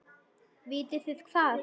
Vitið þið hvað.